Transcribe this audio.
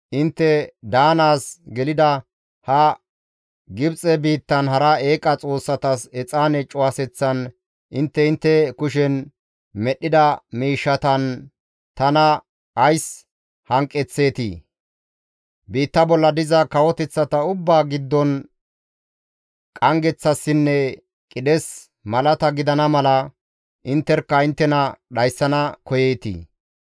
Intte daanaas gelida ha Gibxe biittan hara eeqa xoossatas exaane cuwaseththan intte intte kushen medhdhida miishshatan tana ays hanqeththeetii? Biitta bolla diza kawoteththata ubbaa giddon qanggeththassinne qidhes malata gidana mala intterkka inttena dhayssana koyeetii?